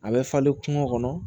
A bɛ falen kungo kɔnɔ